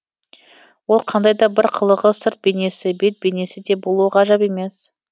ол қандай да бір қылығы сырт бейнесі бет бейнесі де болуы ғажап емес